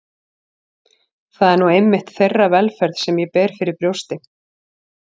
Það er nú einmitt þeirra velferð sem ég ber fyrir brjósti.